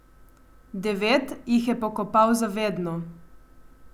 Devet jih je pokopal za vedno.